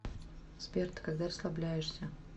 сбер ты когда расслабляешься